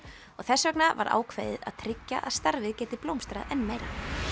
og þess vegna var ákveðið að tryggja að starfið geti blómstrað enn meira